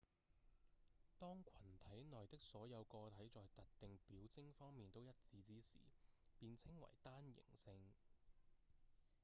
當群體內的所有個體在特定表徵方面都一致之時便稱為單型性